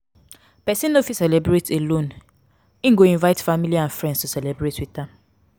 persin no fit celebrate alone in go invite family and friends to celebrate with am